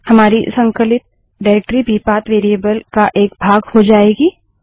हमारी संकलित निर्देशिकाडाइरेक्टरी भी पाथ वेरिएबल का एक भाग हो जाएगी